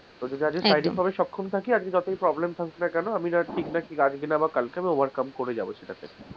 যদি আমি শারীরিক ভাবে সক্ষম থাকি আজকে যতই problem থাকুক না কেন আমি ঠিকনা ঠিক জানি আমি কালকে overcome করে যাবো সেটাতে,